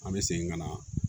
An bɛ segin ka na